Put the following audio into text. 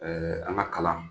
an ka kalan